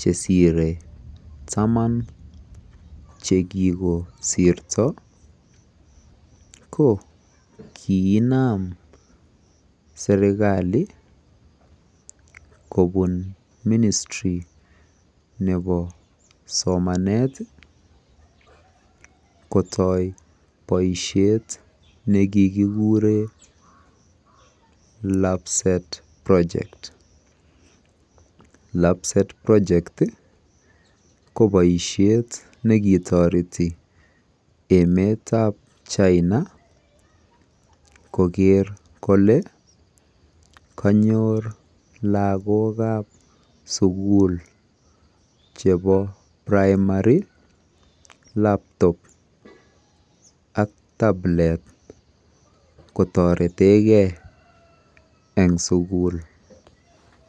chesire tamaan chegigosirto ko kiginaam serkalii kobuu ministry nebo somaneet iih kotooi boishet negigigureen labset project, labset project iih koboisheet negitoeti emeet ab china kogeer kole kanyoor lagook ab suguul chebo primary ak tablet kotoretegee en suguul.